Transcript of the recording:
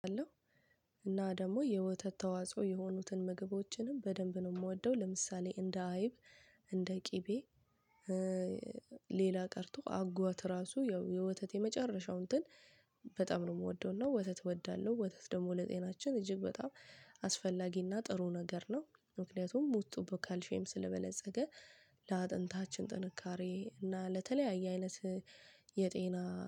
እና ደግሞ የወተት ተዋጽኦ የሆኑትን ምግቦችንም በደንብ ነው የምወደው ለምሳሌ እንደ አይብ እንደ ቅቤ። ሌላ ቀርቶ አጓት ራሱ የወተት የመጨረሻው እንትን በጣም ነው ምወደውና ወተት እወዳለሁ። ወተት ደግሞ ለጤናችን እጅግ በጣም አስፈላጊና ጥሩ ነገር ነው። ምክንያቱም ውስጡ ቦካልሽየም ስለበለፀገ ለአጥንታችን ጥንካሬ እና ለተለያየ አይነት የጤና